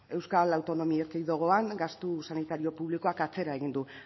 euskal autonomi erkidegoan gastu sanitario publikoak atzera egin du